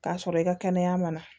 K'a sɔrɔ i ka kɛnɛya ma